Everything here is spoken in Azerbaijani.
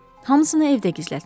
Hamısını evdə gizlətmişəm.